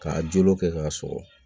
K'a jo kɛ k'a sɔgɔ